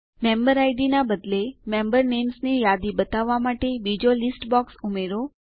member ID ના બદલે member names ની યાદી બતાવવા માટે બીજો લીસ્ટ બોક્સ ઉમેરો